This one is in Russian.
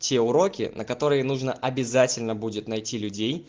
те уроки на которые нужно обязательно будет найти людей